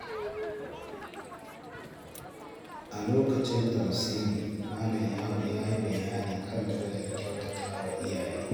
A lokacin tafsiri, Malam Ya’u ya yi bayani kan darajar kyautatawa iyaye.